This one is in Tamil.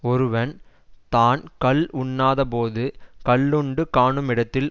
ஒருவன் தான் கள் உண்ணாத போது கள்ளுண்டு காணுமிடத்தில்